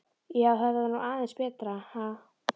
Já, þetta var nú aðeins betra, ha!